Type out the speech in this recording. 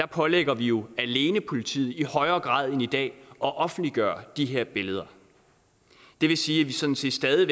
pålægger vi jo alene politiet i højere grad end i dag at offentliggøre de her billeder det vil sige at vi sådan set stadig